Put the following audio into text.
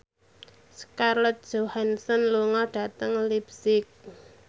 Scarlett Johansson lunga dhateng leipzig